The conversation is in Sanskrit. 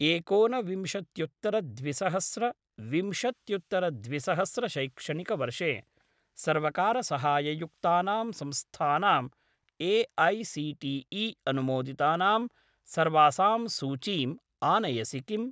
एकोन विंशत्युत्तर द्विसहस्र विंशत्युत्तर द्विसहस्र शैक्षणिकवर्षे सर्वकारसहाययुक्तानां संस्थानां ए.ऐ.सी.टी.ई. अनुमोदितानां सर्वासाम् सूचीम् आनयसि किम्?